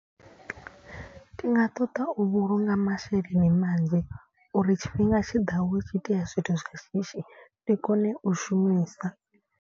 Ndi nga ṱoḓa u vhulunga masheleni manzhi, uri tshifhinga tshiḓaho hu tshi itea zwithu zwi shishi ndi kone u shumisa.